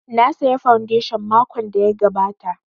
Na saya fondation makon da ya gabata